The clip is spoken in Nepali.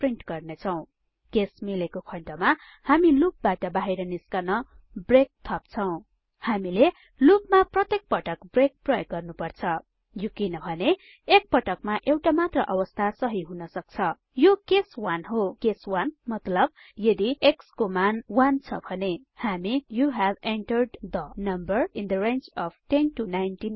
प्रिन्ट गर्नेछौं केस मिलेको खण्डमा हामी लूपबाट बाहिर निस्कन ब्रेक थाप्छौँ हामीले लूपमा प्रत्येक पटक ब्रेक प्रयोग गर्नुपर्छ यो किनभने एकपटकमा एउटा मात्र अवस्था सहि हुनसक्छ यो केस 1 हो केस 1 मतलब यदि x को मान 1छ भने हामी you have entered the number in the range of 10 19